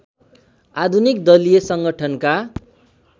आधुनिक दलीय संगठनका